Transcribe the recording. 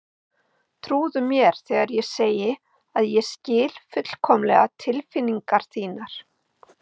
Trúðu mér þegar ég segi að ég skil fullkomlega tilfinningar þínar.